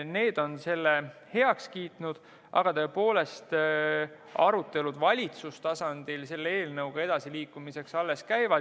Need on selle heaks kiitnud, aga arutelud valitsustasandil selle eelnõuga edasiliikumiseks alles käivad.